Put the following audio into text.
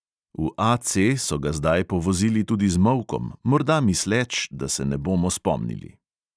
V AC so ga zdaj povozili tudi z molkom, morda misleč, da se ne bomo spomnili.